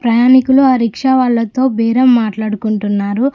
ప్రయాణికులు ఆ రిక్షా వాళ్ళతో బేరం మాట్లాడుకుంటున్నారు.